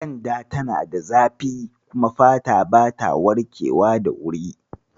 Ƙyenda tana da zafi kuma fata bata warkewa da wuri.